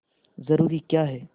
जरूरी क्या है